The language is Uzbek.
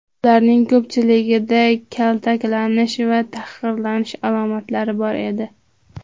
Ularning ko‘pchiligida kaltaklanish va tahqirlanish alomatlari bor edi.